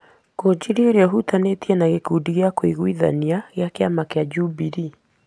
Ngũnjiri ũrĩa ũhutanĩtie na gĩkundi kĩa Kieleweke gĩa kĩama kĩa Jubilee,